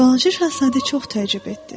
Balaca şahzadə çox təəccüb etdi.